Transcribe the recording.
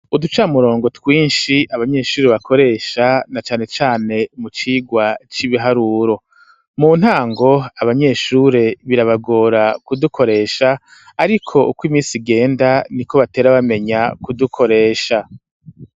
Uducamurongo twishi abanyeshuri bakoresha na cane cane mu cirwa c'ibiharuro mu ntango abanyeshure birabagora ku dukoresha ariko uko imisi igenda niko batere bamenya ku dukoresha.